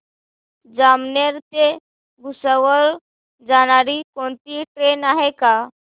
जामनेर ते भुसावळ जाणारी कोणती ट्रेन आहे का